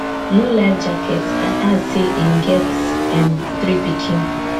no life jacket and add say im get um three pikin